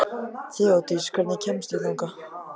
Þeódís, hvernig kemst ég þangað?